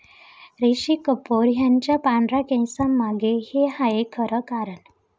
ऋषी कपूर यांच्या पांढऱ्या केसांंमागे 'हे' आहे खरं कारण